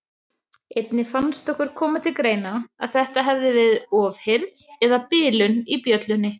Einnig fannst okkur koma til greina að þetta hefði verið ofheyrn eða bilun í bjöllunni.